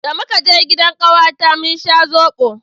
da muka je gidan kawata mun sha zobo